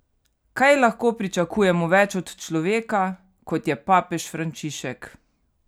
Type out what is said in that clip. Kaj lahko pričakujemo več od človeka, kot je papež Frančišek?